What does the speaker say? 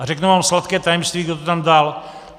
A řeknu vám sladké tajemství, kdo to tam dal.